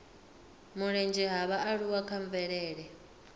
mulenzhe ha vhaaluwa kha mvelele